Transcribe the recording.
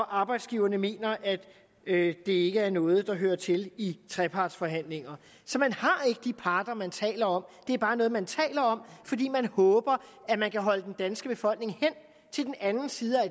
arbejdsgiverne mener at det ikke er noget der hører til i trepartsforhandlinger så man har ikke de parter man taler om det er bare noget man taler om fordi man håber at man kan holde den danske befolkning hen til den anden side af